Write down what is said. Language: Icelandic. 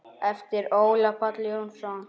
eftir Ólaf Pál Jónsson